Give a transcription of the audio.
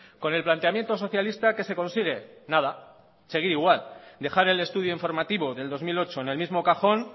con el planteamiento socialista qué se consigue nada seguir igual dejar el estudio informativo del dos mil ocho en el mismo cajón